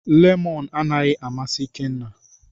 Lemọn anaghị amasị Ikenna.